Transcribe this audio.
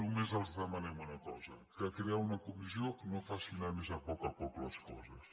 només els demanem una cosa que crear una comissió no faci anar més a poc a poc les coses